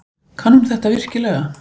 Kann hún þetta virkilega?